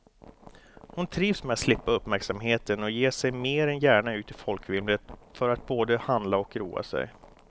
Hon trivs med att slippa uppmärksamheten och ger sig mer än gärna ut i folkvimlet för att både handla och roa sig.